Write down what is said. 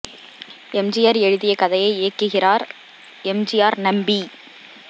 M G R எழுதிய கதையை இயக்குகிறார் எம் ஜி ஆர் நம்பி